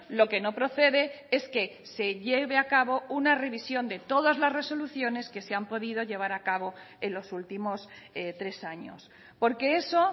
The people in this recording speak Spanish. lo que no procede es que se lleve a cabo una revisión de todas las resoluciones que se han podido llevar a cabo en los últimos tres años porque eso